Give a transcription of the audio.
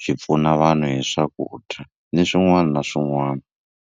byi pfuna vanhu hi swakudya ni swin'wana na swin'wana.